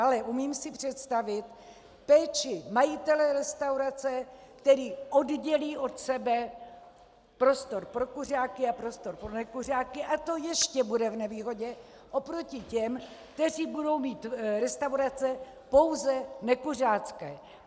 Ale umím si představit péči majitele restaurace, který oddělí od sebe prostor pro kuřáky a prostor pro nekuřáky, a to ještě bude v nevýhodě oproti těm, kteří budou mít restaurace pouze nekuřácké.